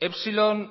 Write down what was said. epsilon